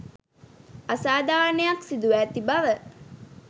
අසාධාරණයක් සිදුව ඇති බව